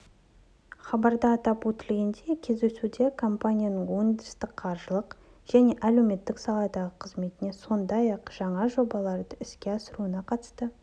хабарда атап өтілгендей кездесуде компанияның өндірістік-қаржылық және әлеуметтік саладағы қызметіне сондай-ақ жаңа жобаларды іске асыруына қатысты